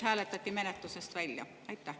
… hääletati menetlusest välja?